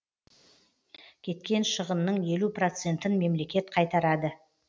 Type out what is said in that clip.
кеткен шығынның елу процентін мемлекет қайтарады